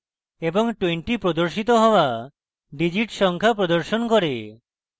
এবং 20 প্রদর্শিত হওয়া digits সংখ্যা প্রদর্শন করে